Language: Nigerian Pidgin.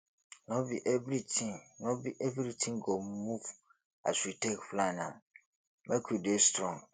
no be everytin no be everytin go move as you take plan am make you dey strong